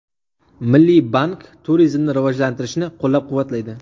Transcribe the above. Milliy bank turizmni rivojlantirishni qo‘llab-quvvatlaydi.